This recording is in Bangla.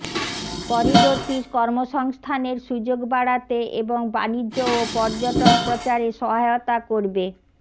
করিডোরটি কর্মসংস্থানের সুযোগ বাড়াতে এবং বাণিজ্য ও পর্যটন প্রচারে সহায়তা করবে